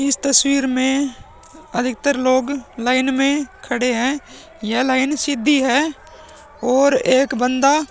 इस तस्वीर में अधिकतर लोग लाइन में खड़े हैं। यह लाइन सीधी है और एक बंदा --